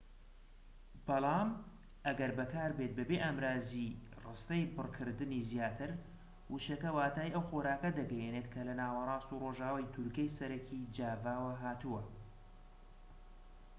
بەڵام ئەگەر بەکاربێت بەبێ ئامڕازی ڕستەی بڕکردنی زیاتر وشەکە واتای ئەو خۆراکە دەگەیەنێت کە لە ناوەڕاست و ڕۆژئاوای دورگەی سەرەکی جاڤاوە هاتووە